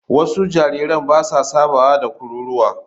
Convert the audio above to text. Wasu jariran ba sa saba da kururuwa.